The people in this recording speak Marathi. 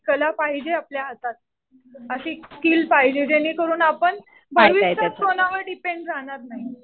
कला पाहिजे आपल्या हातात. अशी स्किल पाहिजे जेणेकरून आपण भविष्यात कोणावर डिपेंड राहणार नाही.